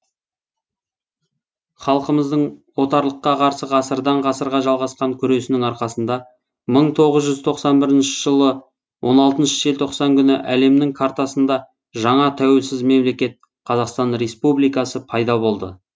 халқымыздың отарлыққа қарсы ғасырдан ғасырға жалғасқан күресінің арқасында мың тоғыз жүз тоқсан бірінші жыл он алтыншы желтоқсан күні әлемнің картасында жаңа тәуелсіз мемлекет қазақстан республикасы пайда болды